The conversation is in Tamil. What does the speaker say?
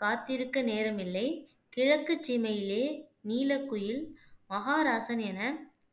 காத்திருக்க நேரமில்லை, கிழக்குச் சீமையிலே, நீலக்குயில், மகாராசன் என